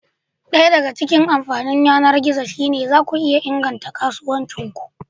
Daya daga cikin amfanin yanar gizo shine cewa zaku iya inganta kasuwancin ku.